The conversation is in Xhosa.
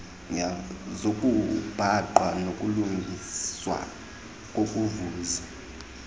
zokubhaqwa nokulungiswa kokuvuza